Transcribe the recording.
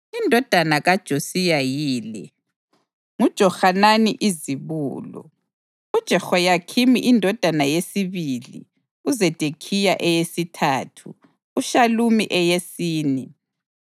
Amadodana kaJosiya yila: nguJohanani izibulo, uJehoyakhimi indodana yesibili, uZedekhiya eyesithathu, uShalumi eyesine.